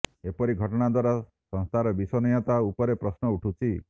ଏପରି ଘଟଣା ଦ୍ୱାରା ସଂସ୍ଥାର ବିଶ୍ୱସନୀୟତା ଉପରେ ପ୍ରଶ୍ନ ଉଠୁଛି